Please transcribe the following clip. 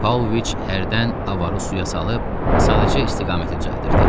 Pavloviç hərdən avarı suya salıb, sadəcə istiqaməti düzəldirdi.